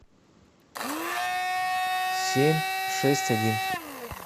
семь шесть один